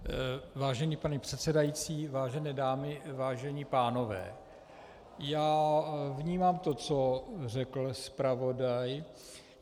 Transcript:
Vážený pane předsedající, vážené dámy, vážení pánové, já vnímám to, co řekl zpravodaj.